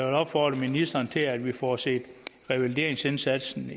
opfordre ministeren til at vi får set revalideringsindsatsen